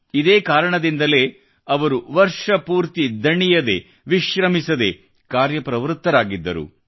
ಇದೇ ಕಾರಣದಿಂದಲೇ ಅವರು ವರ್ಷಪೂರ್ತಿ ದಣಿಯದೇ ವಿಶ್ರಮಿಸದೇ ಕಾರ್ಯಪ್ರವೃತ್ತರಾಗಿದ್ದರು